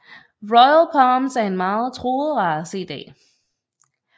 Royal Palms er en meget truet race i dag